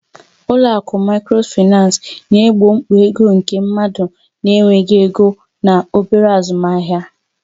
Ụlọ akụ Microfinance na-egbo mkpa ego nke ndị mmadụ na-enweghị ego na obere azụmahịa.